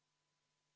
Head kolleegid!